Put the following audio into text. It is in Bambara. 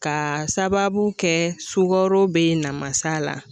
K'a sababu kɛ sugaro be ye namasa la